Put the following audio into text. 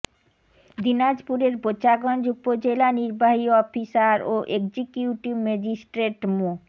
দিনাজপুরের বোচাগঞ্জ উপজেলা নির্বাহী অফিসার ও এক্সজিউকিট ম্যাজিস্ট্রেট মো